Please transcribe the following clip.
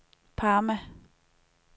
Parma